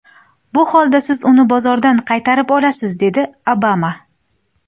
Bu holda siz uni bozordan qaytarib olasiz”, dedi Obama.